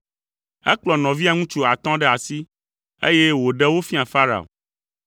Ekplɔ nɔvia ŋutsu atɔ̃ ɖe asi, eye wòɖe wo fia Farao.